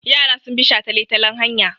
Yara sun bi shataletalen hanya.